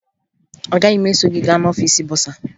Agaghị m eso gị gaa n'ọfiisi bọsaa